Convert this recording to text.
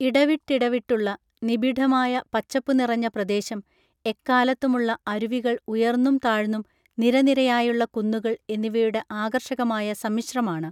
ഇടവിട്ടിടവിട്ടുള്ള നിബിഡമായ പച്ചപ്പു നിറഞ്ഞ പ്രദേശം എക്കാലത്തുമുള്ള അരുവികൾ ഉയർന്നും താഴ്ന്നും നിരനിരയായുള്ള കുന്നുകൾ എന്നിവയുടെ ആകർഷകമായ സമ്മിശ്രമാണ്